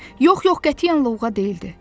Yox, yox, qətiyyən lovğa deyildi.